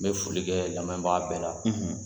N bɛ folikɛ lamɛn baga bɛɛ la